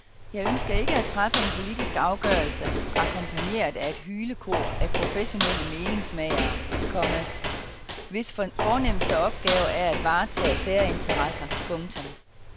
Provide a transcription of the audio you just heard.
Jeg ønsker ikke at træffe en politisk afgørelse akkompagneret af et hylekor af professionelle meningsmagere, komma hvis fornemmeste opgave er at varetage særinteresser. punktum